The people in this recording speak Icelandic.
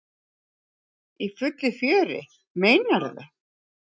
Í fullu fjöri, meinarðu?